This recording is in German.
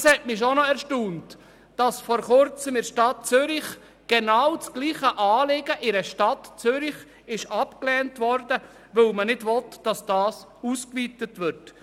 Es hat mich schon noch erstaunt, dass vor Kurzem in der Stadt Zürich genau das gleiche Anliegen abgelehnt wurde, weil man nicht will, dass eine Ausweitung stattfindet.